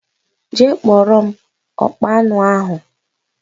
Jee kpọrọ m ọkpa aṅụ ahụ!!!!